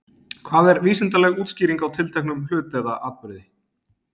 Hvað er vísindaleg útskýring á tilteknum hlut eða atburði?